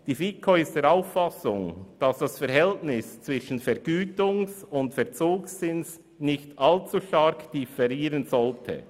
Die FiKo ist der Auffassung, dass das Verhältnis zwischen Vergütungs- und Verzugszins nicht allzu stark differieren sollte.